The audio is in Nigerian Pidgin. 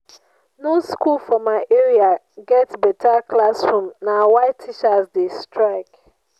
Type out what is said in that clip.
no skool for my area get beta classroom na why teachers dey strike.